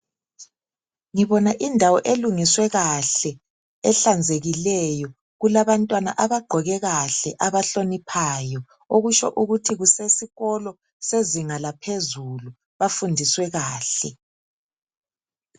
Ngibona indawo elungiswe kahle ehlanzekileyo. Kulabantwana abagqoke kahle, abahloniphayo, okutsho ukuthi kusesikolo sezinga laphezulu. Bafundiswe kahle.